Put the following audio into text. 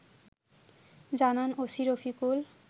জানান ওসি রফিকুল